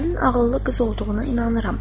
Sənin ağıllı qız olduğuna inanıram.